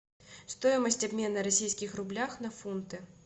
стоимость обмена российских рублях на фунты